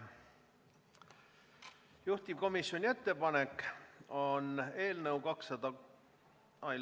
Juhtivkomisjoni ettepanek on eelnõu 206 ...